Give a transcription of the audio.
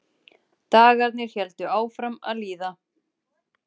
Dagarnir héldu áfram að líða.